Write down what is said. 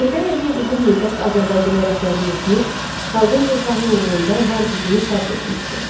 Heydər Əliyev uzun müddət Azərbaycana rəhbərlik etmiş, xalqın rifahı uğrunda var gücünü sərf etmişdi.